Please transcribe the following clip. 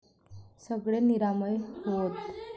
सगळे निरामय होवोत.